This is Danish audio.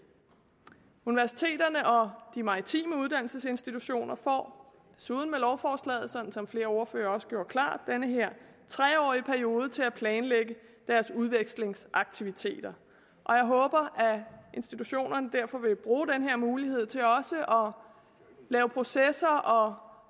universiteterne og de maritime uddannelsesinstitutioner får desuden med lovforslaget sådan som flere ordførere også gjorde det klart den her tre årige periode til at planlægge deres udvekslingsaktiviteter og jeg håber at institutionerne derfor vil bruge den her mulighed til også at lave processer og